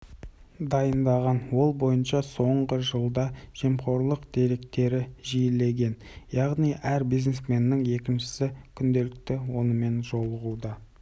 дайындаған ол бойынша соңғы жылда жемқорлық деректері жиілеген яғни әр бизнесменнің екіншісі күнделікті онымен жолығуда